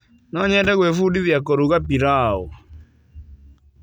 No nyende gwĩbundithia kũruga piraũ.